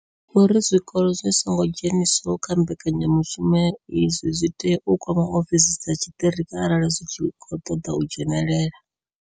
Vho ri zwikolo zwi songo dzheniswaho kha mbekanya mushumo iyi zwi tea u kwama ofisi dza tshiṱiriki arali zwi tshi khou ṱoḓa u dzhenela.